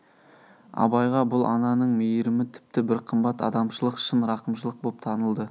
абайға бұл ананың мейрімі тіпті бір қымбат адамшылық шын рақымшылық боп танылды